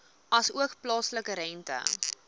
asook plaaslike rente